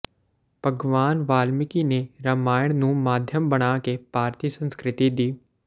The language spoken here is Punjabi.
ਭਗਵਾਨ ਵਾਲਮੀਕਿ ਨੇ ਰਮਾਇਣ ਨੂੰ ਮਾਧਿਅਮ ਬਣਾ ਕੇ ਭਾਰਤੀ ਸੰਸਕ੍ਰਿਤੀ ਦੀ